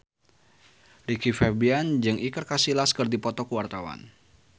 Rizky Febian jeung Iker Casillas keur dipoto ku wartawan